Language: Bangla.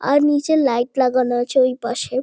আর নীচে লাইট লাগানো আছে ওইপাশে।